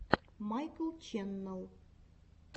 майкл ченнел